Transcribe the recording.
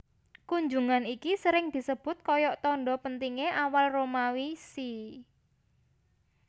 Kunjungan iki sering disebut koyok tondo pentingne awal Romawi See